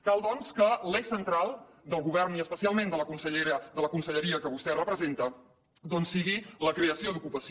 cal doncs que l’eix central del govern i especialment de la conselleria que vostè representa doncs sigui la creació d’ocupació